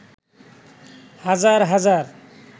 হাজার হাজার